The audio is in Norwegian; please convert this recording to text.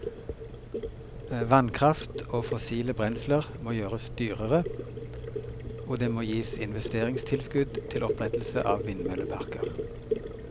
Vannkraft og fossile brensler må gjøres dyrere, og det må gis investeringstilskudd til opprettelse av vindmølleparker.